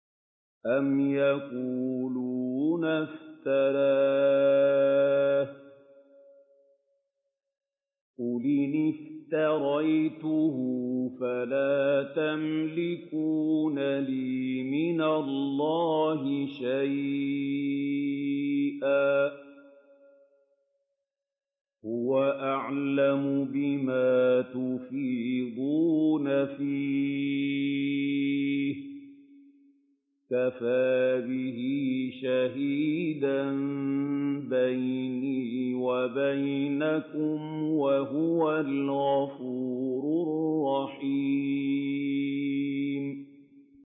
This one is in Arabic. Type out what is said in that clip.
أَمْ يَقُولُونَ افْتَرَاهُ ۖ قُلْ إِنِ افْتَرَيْتُهُ فَلَا تَمْلِكُونَ لِي مِنَ اللَّهِ شَيْئًا ۖ هُوَ أَعْلَمُ بِمَا تُفِيضُونَ فِيهِ ۖ كَفَىٰ بِهِ شَهِيدًا بَيْنِي وَبَيْنَكُمْ ۖ وَهُوَ الْغَفُورُ الرَّحِيمُ